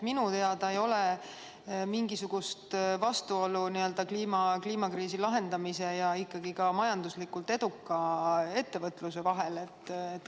Minu teada ei ole mingisugust vastuolu kliimakriisi lahendamise ja majanduslikult eduka ettevõtluse vahel.